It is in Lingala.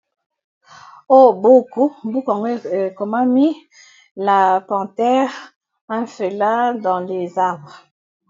O buku, buku ango ekomami la panthere un félin dans les arbres.